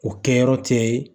O kɛyɔrɔ tɛ